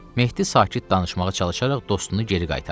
Mehdi sakit danışmağa çalışaraq dostunu geri qaytardı.